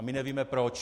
A my nevíme proč.